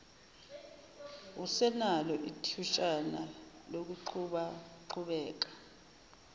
usenalo ithutshana lokuqhubaqhubeka